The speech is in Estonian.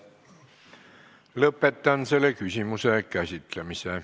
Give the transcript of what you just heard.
Lõpetan selle küsimuse käsitlemise.